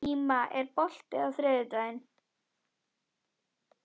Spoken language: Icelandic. Íma, er bolti á þriðjudaginn?